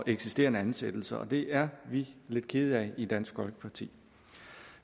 eksisterende ansættelser og det er vi lidt kede af i dansk folkeparti